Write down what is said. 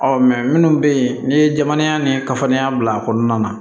Ɔ minnu bɛ yen n'i ye jamana ni kafaniya bila a kɔnɔna na